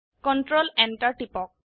control enter টিপক